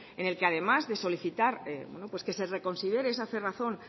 en el que además de solicitar que se reconsidere esa cerrazón